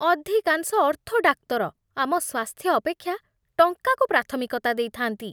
ଅଧିକାଂଶ ଅର୍ଥୋ ଡାକ୍ତର ଆମ ସ୍ୱାସ୍ଥ୍ୟ ଅପେକ୍ଷା ଟଙ୍କାକୁ ପ୍ରାଥମିକତା ଦେଇଥାନ୍ତି।